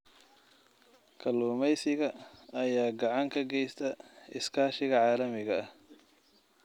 Kalluumeysiga ayaa gacan ka geysta iskaashiga caalamiga ah.